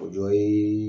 O dɔ ye